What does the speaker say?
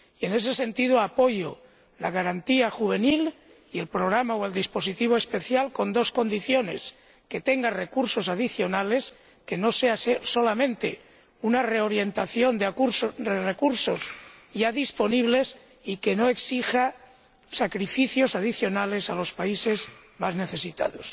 En ese sentido apoyo la garantía juvenil y el programa o dispositivo especial, con dos condiciones que tengan unos recursos adicionales que no consistan solamente en una reorientación de recursos ya disponibles, y que no exijan sacrificios adicionales a los países más necesitados.